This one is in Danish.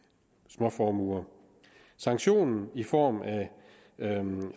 småformuer sanktion i form af